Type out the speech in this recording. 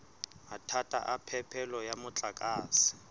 mathata a phepelo ya motlakase